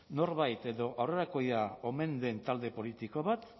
norbait edo aurrerakoia omen den talde politiko bat